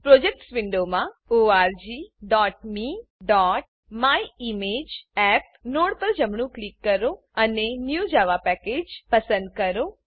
projects projects વિન્ડોમાં orgmeમાયિમેજઅપ node પર જમણું ક્લિક કરો અને new Java package new Java package પસંદ કરો